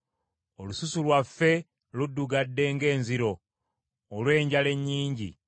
Olususu lwaffe luddugadde ng’enziro olw’enjala ennyingi.